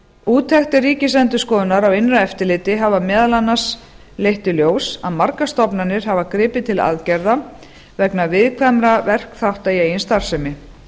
úttektir ríkisendurskoðunar á innra eftirliti hafa meðal annars leitt í ljós að margar stofnanir hafa gripið til aðgerða vegna viðkvæmra verkþátta í eigin starfsemi